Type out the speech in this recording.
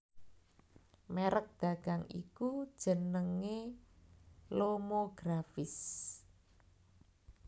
Merek dagang iku jenenge Lomographische